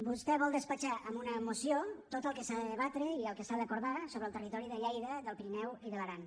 vostè vol despatxar amb una moció tot el que s’ha de debatre i el que s’ha d’acordar sobre el territori de lleida del pirineu i de l’aran